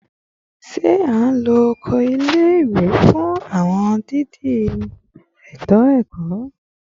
Ṣe a lo oko ile-iwe fun awọn idi eto ẹkọ?